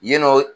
Yennɔ